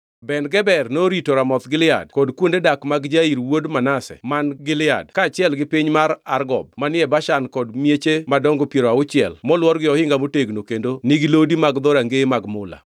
Ben-Geber norito Ramoth Gilead (kod kuonde dak mag Jair wuod Manase man Gilead kaachiel gi piny mar Argob manie Bashan kod mieche madongo piero auchiel molwor gi ohinga motegno kendo nigi lodi mag rangeye mag mula);